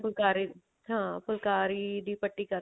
ਫੁਲਕਾਰੀ ਹਾਂ ਫੁਲਕਾਰੀ ਦੀ ਪੱਟੀ ਕਰ